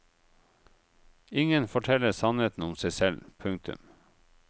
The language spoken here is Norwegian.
Ingen forteller sannheten om seg selv. punktum